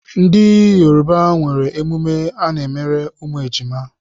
Ndị Yoruba nwere emume ha n'emere ụmụ ejima.